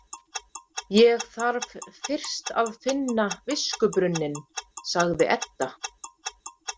Ég þarf fyrst að finna viskubrunninn, sagði Edda.